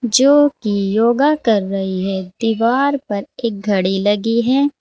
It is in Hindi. जो कि योगा कर रही है दीवार पर एक घड़ी लगी है।